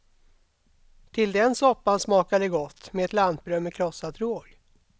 Till den soppan smakar det gott med ett lantbröd med krossad råg.